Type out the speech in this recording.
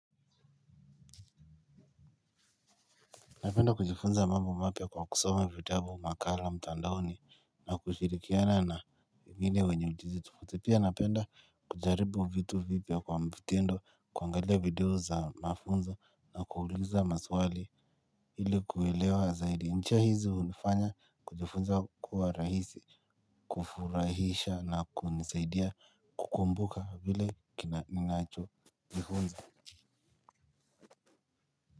Napenda kujifunza mambo mapya kwa kusoma vitabu makala mtandaoni na kushirikiana na wengine wenye ujuzi tofauti pia. Napenda kujaribu vitu vipya kwa mtindo, kuangalia video za mafunzo na kuuliza maswali ili kuelewa zaidi. Njia hizi hunifanya kujifunza kuwa rahisi, kufurahisha na kunisaidia kukumbuka vile ninachojifunza.